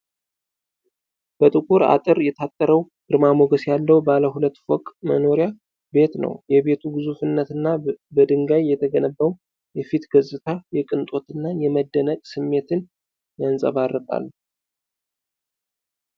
በጥቁር አጥር የታጠረው ግርማ ሞገስ ያለው ባለ ሁለት ፎቅ መኖሪያ ቤት ነው። የቤቱ ግዙፍነትና በድንጋይ የተገነባው የፊት ገጽታ የቅንጦትና የመደነቅ ስሜትን ያንፀባርቃል።